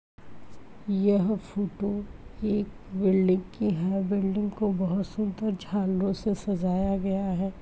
यह फोटो एक बिल्डिंग की है बिल्डिंग को बहोत सुंदर झालरों से सजाया गया है।